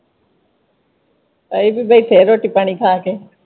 ਅਹੀਂ ਵੀ ਬੈਠੇ ਰੋਟੀ ਪਾਣੀ ਖਾ ਕੇ।